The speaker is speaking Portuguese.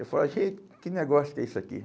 Eu falava, gente, que negócio que é isso aqui?